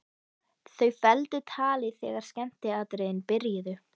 Þau felldu talið þegar skemmtiatriðin byrjuðu.